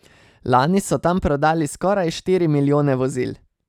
Lani so tam prodali skoraj štiri milijone vozil.